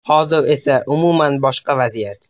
Hozir esa umuman boshqa vaziyat.